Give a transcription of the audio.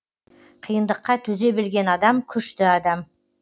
қиындыққа төзе білген адам күшті адам